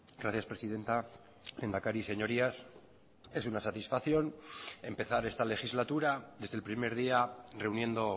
gracias presidenta lehendakari señorías es una satisfacción empezar esta legislatura desde el primer día reuniendo